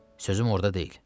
Sözüm orda deyil.